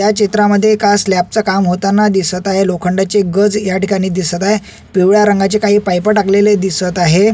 या चित्रामद्धे एका स्लॅब च काम होताना दिसत आहे लोखंडाचे गज या ठिकाणी दिसत आहे. पिवळ्या रंगाचे पायप टाकलेले काही दिसत आहे.